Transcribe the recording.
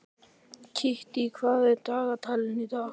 Kittý, hvað er á dagatalinu í dag?